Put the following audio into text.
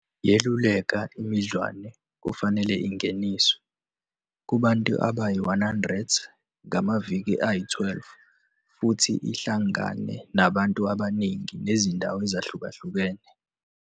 yeluleka imidlwane kufanele ingeniswe "Kubantu abayi-100 ngamaviki ayi-12" futhi ihlangane nabantu abaningi nezindawo ezahlukahlukene.